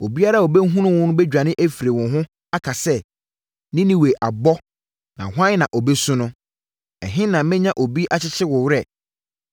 Obiara a ɔbɛhunu wo bɛdwane afiri wo ho aka sɛ, ‘Ninewe abɔ, na hwan na ɔbɛsu no?’ Ɛhe na menya obi akyekyere wo werɛ?”